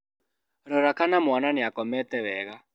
Rora kana mwana nĩakomete wega.